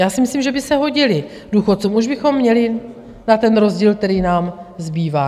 Já si myslím, že by se hodily důchodcům, už bychom měli na ten rozdíl, který nám zbývá.